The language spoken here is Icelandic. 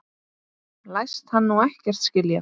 Læst hann nú ekkert skilja?